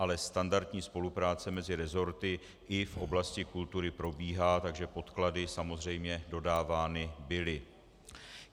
Ale standardní spolupráce mezi resorty i v oblasti kultury probíhá, takže podklady samozřejmě dodávány byly.